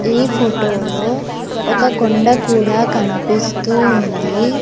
ఈ ఫోటోలో ఒక కొండ కూడా కనిపిస్తూ ఉంది.